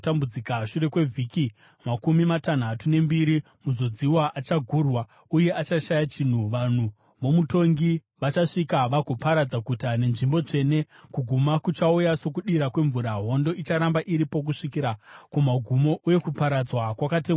Shure kwevhiki makumi matanhatu nembiri, Muzodziwa achagurwa uye achashaya chinhu. Vanhu vomutongi vachasvika vagoparadza guta nenzvimbo tsvene. Kuguma kuchauya sokudira kwemvura. Hondo icharamba iripo kusvikira kumagumo, uye kuparadzwa kwakatemwa kare.